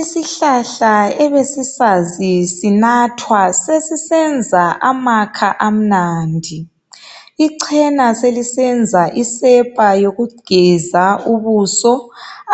Isihlahla ebesisazi sinathwa sesisenza amakha amnandi. Ichena selisenza isepa yokugeza ubuso,